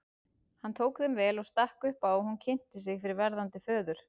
Hann tók þeim vel og stakk upp á að hún kynnti sig fyrir verðandi föður.